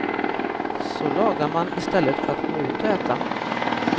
Så lagar man i stället för att gå ut och äta.